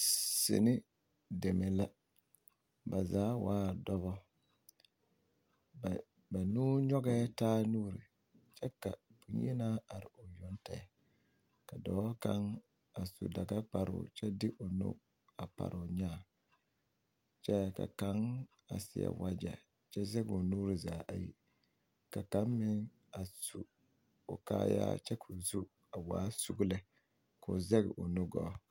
Sini deme la ba zaa waa dɔbɔ ba nuu nyɔgɛɛ taa nuuri kyɛ ka boŋyenaa are o yoŋ tɛgɛ ka dɔɔ kaŋ su dagakparoo kyɛ de o nu a pare o nyaa kyɛ ka kaŋ a seɛ wagyɛ kyɛ zɛge o nuuri zaa ayi ka kaŋ meŋ a su o kaaya kyɛ ka o zu waa sugu lɛ k'o zɛge o nu gɔɔ.